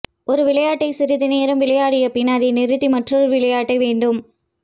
ஒரு விளையாட்டை சிறிது நேரம் விளையாடியபின் அதை நிறுத்தி மற்றொரு விளையாட்டை வேண்டும்